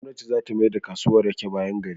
Gwamnati zata mayar da kasuwan rake bayan gari.